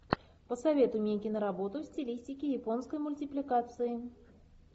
посоветуй мне кино работу в стилистике японской мультипликации